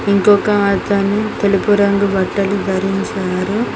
ఇంకొక అతను తెలుపు రంగు బట్టలు ధరించి ఉన్నారు.